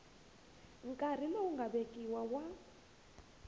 nkarhi lowu nga vekiwa wa